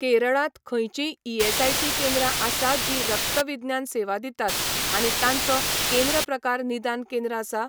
केरळांत खंयचींय ईएसआयसी केंद्रां आसा जीं रक्तविज्ञान सेवा दितात आनी तांचो केंद्र प्रकार निदान केंद्र आसा?